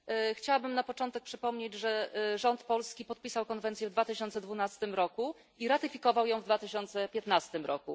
Chciałabym na początek przypomnieć, że rząd polski podpisał konwencję w 2012 r. i ratyfikował ją w 2015 r.